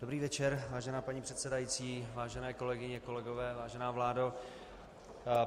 Dobrý večer, vážená paní předsedající, vážené kolegyně, kolegové, vážená vládo.